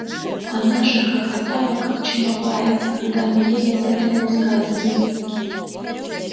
она же хохотала как чумовая когда мы ей об этом рассказывали